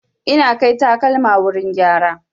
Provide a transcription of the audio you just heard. Ina kai takalma wurin gyara.